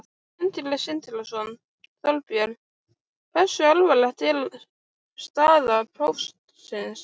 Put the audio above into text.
Sindri Sindrason: Þorbjörn, hversu alvarleg er staða Póstsins?